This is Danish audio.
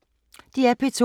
DR P2